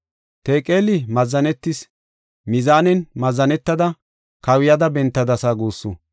TEQEL: (mazzanetis) ‘Mizaanen mazzanetada, kawuyada bentadasa’ guussu.